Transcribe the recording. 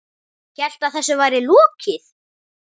Hélt að þessu væri lokið.